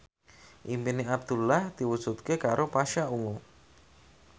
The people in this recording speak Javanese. impine Abdullah diwujudke karo Pasha Ungu